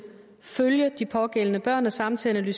følge de pågældende børn og samtidig